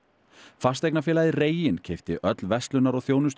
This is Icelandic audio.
fasteignafélagið reginn keypti öll verslunar og